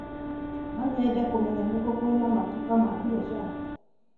No nyende kũmenya nĩ kũ kwĩna matuka ma biacara.